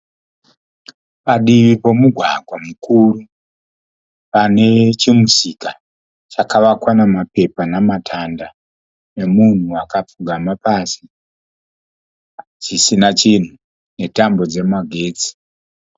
Padivi pemugwagwa mukuru. Pane chimusika chakavakwa nemapepa nematanda nemunhu akapfugama pasi chisina chinhu netambo dzemagetsi.